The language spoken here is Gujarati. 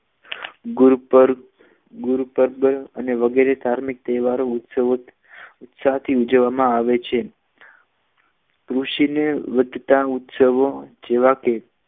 ગુરુપદ ગુરુપદ અને વગેરે ધાર્મિક તહેવારો ઉત્સવો ઉત્સવથી ઉજવવામાં આવે છે ઋષિને વધતા ઉત્સવો જેવા કે